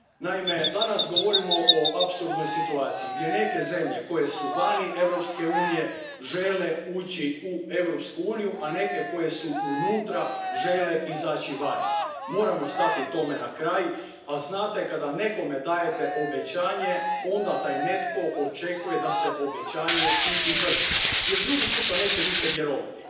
Naime, danas govorimo o apsolutnoj situaciji gdje neke zemlje koje su van Europske unije žele ući u Europsku uniju, a neke koje su unutra žele izaći van. Moramo stati tome na kraj, a znate, kada nekome dajete obećanje, onda taj netko očekuje da se obećanje i izvrši jer drugi put Vam neće više vjerovati.